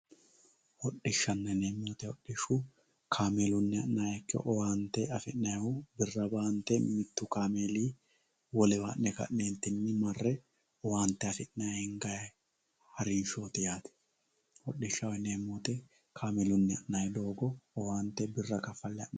Hodhishshanna yineemmo woyte hodhishu kaameeluni owaante affi'nannihu birra baante mitu kaameelinni ha'ne ka'nentinni marre owaante affi'ne hinganni harinshoti yaate hodhishshaho yineemmo woyte kaameeluni ha'nanni doogo owaante birra kafale.